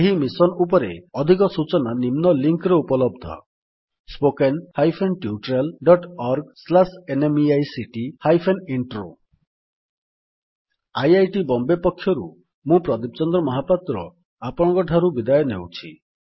ଏହି ମିଶନ୍ ଉପରେ ଅଧିକ ସୂଚନା ନିମ୍ନ ଲିଙ୍କ୍ ରେ ଉପଲବ୍ଧ spoken hyphen tutorial dot org slash NMEICT hyphen intro spoken tutorialorgnmeict intro IIT Bombay ପକ୍ଷରୁ ମୁଁ ପ୍ରଦୀପ ଚନ୍ଦ୍ର ମହାପାତ୍ର ଆପଣଙ୍କଠାରୁ ବିଦାୟ ନେଉଛି